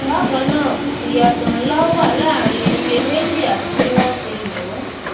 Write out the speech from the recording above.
bákanáà iyatọ nlá wà láàrin iye meji àti bí wọn ṣe lòó